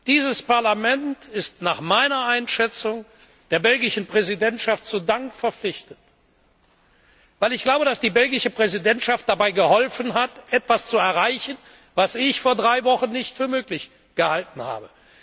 Dieses Parlament ist nach meiner Einschätzung der belgischen Präsidentschaft zu Dank verpflichtet, weil ich glaube, dass die belgische Präsidentschaft dabei geholfen hat, etwas zu erreichen, was ich vor drei Wochen nicht für möglich gehalten habe.